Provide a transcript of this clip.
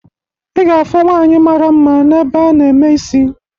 Ị ga-afụ nwaanyị mara mma n'ebe a na-eme isi